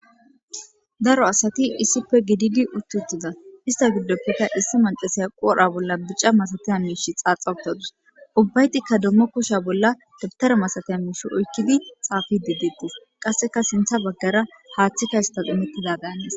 Daaro asati issippe gididi uti utida issta giddope issi macashiya qodhdhe bolla bicca masattiza mishshe xaaxa uttadusu ubbaytika kushshe bolla dabtare masatiza mishsha oykkidi xafidi dettes qassekka sinththa baggara haththika isstas immetida danes.